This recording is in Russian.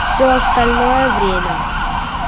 всё остальное время